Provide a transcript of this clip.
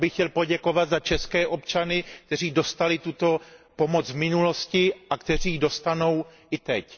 Já bych chtěl poděkovat za české občany, kteří dostali tuto pomoc v minulosti a kteří ji dostanou i teď.